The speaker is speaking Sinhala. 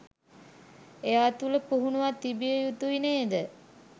එයා තුළ පුහුණුවක් තිබිය යුතුයි නේද?